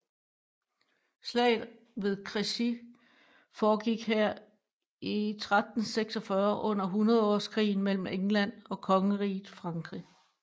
Slaget ved Crecy foregik her i 1346 under hundredårskrigen mellem England og Kongeriget Frankrig